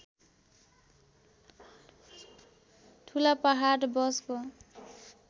ठुला पहाड बसको